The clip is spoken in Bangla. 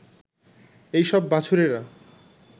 এইসব বাছুরেরা